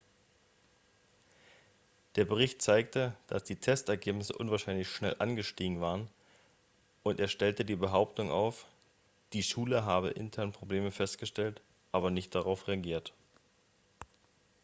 der bericht zeigte dass die testergebnisse unwahrscheinlich schnell angestiegen waren und er stellte die behauptung auf die schule habe intern probleme festgestellt aber nicht darauf reagiert